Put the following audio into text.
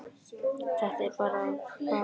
Þetta er bara fyrsta stigið.